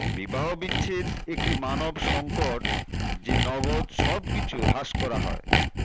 বিবাহবিচ্ছেদ একটি মানব সংকট যে নগদ সবকিছু হ্রাস করা হয়